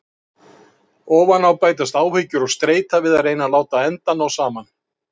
Ofan á bætast áhyggjur og streita við að reyna að láta enda ná saman.